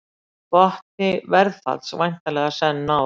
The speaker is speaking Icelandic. Botni verðfalls væntanlega senn náð